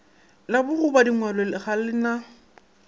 la bokgobadingwalo ga le na